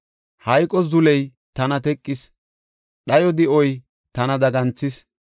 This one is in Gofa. Hayqo zuley tana teqis; dhayo di7oy tana daganthis.